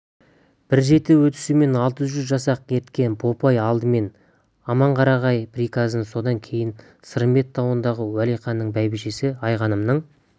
бір жеті өтісімен алты жүз жасақ ерткен бопай алдымен аманқарағай приказын содан кейін сырымбет тауындағы уәлиханның бәйбішесі айғанымның